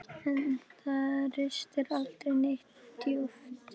En það ristir aldrei neitt djúpt.